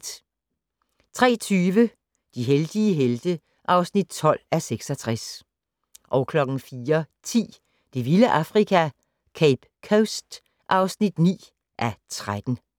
03:20: De heldige helte (12:66) 04:10: Det vilde Afrika - Cape Coast (9:13)